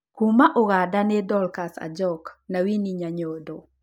Kuuma Uganda nĩ Dorcas Ajok na Winnie Nanyondo